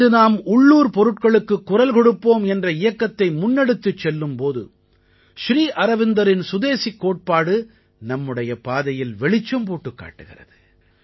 இன்று நாம் உள்ளூர் பொருள்களுக்குக் குரல் கொடுப்போம் என்ற இயக்கத்தை முன்னெடுத்துச் செல்லும் போது ஸ்ரீ அரவிந்தரின் சுதேசிக் கோட்பாடு நம்முடைய பாதையில் வெளிச்சம் போட்டுக் காட்டுகிறது